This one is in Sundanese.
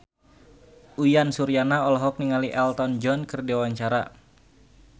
Uyan Suryana olohok ningali Elton John keur diwawancara